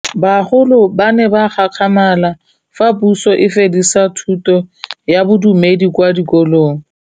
Bagolo ba ne ba gakgamala fa Pusô e fedisa thutô ya Bodumedi kwa dikolong.